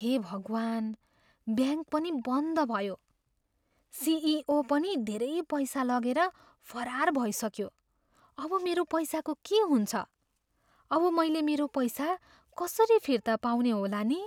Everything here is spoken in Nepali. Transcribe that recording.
हे भगवान्! ब्याङ्क पनि बन्द भयो। सिइओ पनि धेरै पैसा लगेर फरार भइसक्यो। अब मेरो पैसाको के हुन्छ? अब मैले मेरो पैसा कसरी फिर्ता पाउने होला नि?